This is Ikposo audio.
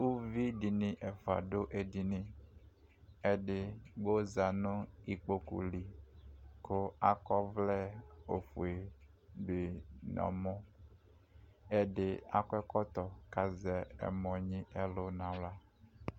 uluvi di ni ɛfua do edini edigbo za no ikpoku li ko akɔ ɔvlɛ ofue di no ɔmɔ ɛdi akɔ ɛkɔtɔ ko azɛ ɛmɔ nyi ɛlu no ala